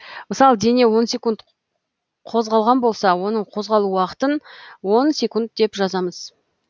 мысалы дене он секунд қозғалған болса оның козғалу уақытын он секунд деп жазамыз